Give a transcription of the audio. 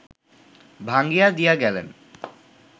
ভাঙ্গিয়া দিয়া গেলেন